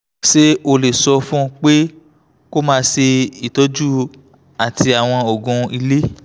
ṣé o lè sọ fún un pé kó máa ṣe ìtọ́jú àti àwọn oògùn ilé?